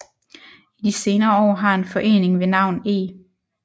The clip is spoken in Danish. I de senere år har en forening ved navn E